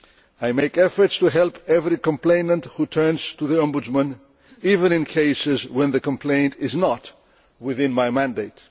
I make efforts to help every complainant who turns to the Ombudsman, even in cases when the complaint is not within my mandate.